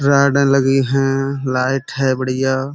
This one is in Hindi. रॉडें लगी हैं। लाइट है बढियां।